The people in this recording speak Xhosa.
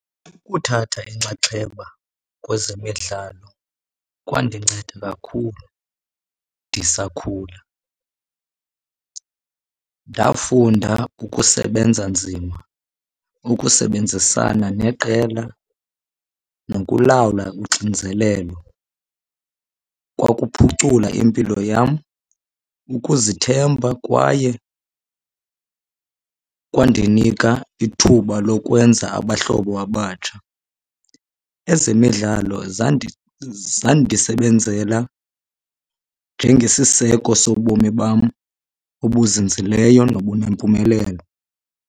Ukuthatha inxaxheba kwezemidlalo kwandinceda kakhulu ndisakhula. Ndafunda ukusebenza nzima, ukusebenzisana neqela nokulawula uxinzelelo. Kwakuphucula impilo yam, ukuzithemba kwaye kwandinika ithuba lokwenza abahlobo abatsha. Ezemidlalo zandisebenzela njengesiseko sobomi bam obuzinzileyo nobunempumelelo.